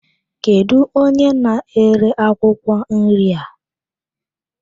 Kedụ onye na-ere akwụkwọ nri a?